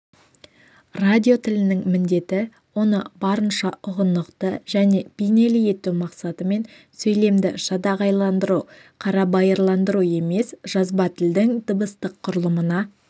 радио тілінің міндеті оны барынша ұғынықты және бейнелі ету мақсатымен сөйлемді жадағайландыру қарабайырландыру емес жазба тілдің дыбыстық құрылымына